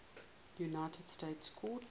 united states court